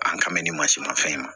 An ka mɛn ni mansin ma fɛn ma